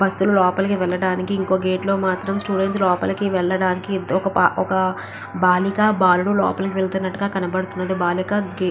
Bus లు లోపలికి వెళ్ళటానికి ఇంకో గేట్ లో మాత్రం స్టూడెంట్స్ లోపలికి వెళ్ళటానికి ఒక బాలిక బాలుడు లోపలికి వెళ్తునట్టుగా కనపడతుంది. బాలిక --